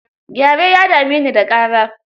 Gyare ya dami ni da ƙara.